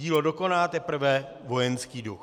Dílo dokoná teprve vojenský duch."